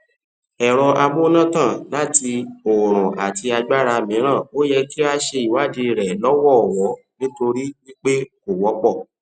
ẹrọ amúnátàn láti oòrùn àti agbára mìíràn o yẹ kí a ṣe ìwadiirẹ lọwọlọwọ nítorí wípé kò wọ pọ